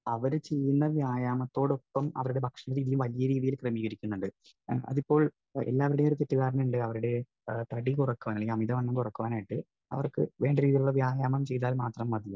Speaker 1 അവര് ചെയ്യുന്ന വ്യായാമത്തോടൊപ്പം അവരുടെ ഭക്ഷണരീതിയും വലിയ രീതിയിൽ ക്രമീകരിക്കുന്നുണ്ട്. അതിപ്പോൾ എല്ലാവരുടെയും ഒരു തെറ്റിദ്ധാരണ ഉണ്ട് അവരുടെ തടി കുറയ്ക്കുവാൻ, അല്ലെങ്കിൽ അമിത വണ്ണം കുറയ്ക്കുവാൻ ആയിട്ട് അവർക്ക് വേണ്ട രീതിയിലുള്ള വ്യായാമം ചെയ്താൽ മാത്രം മതിയെന്ന്.